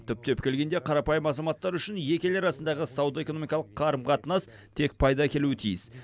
түптеп келгенде қарапайым азаматтар үшін екі ел арасындағы сауда экономикалық қарым қатынас тек пайда әкелуі тиіс